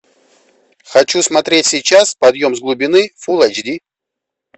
хочу смотреть сейчас подъем с глубины фул айч ди